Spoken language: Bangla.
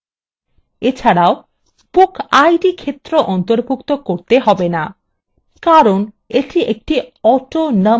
এছাড়াও bookid ক্ষেত্র অন্তর্ভুক্ত করতে হবে না কারণ এটি একটি autonumber ক্ষেত্র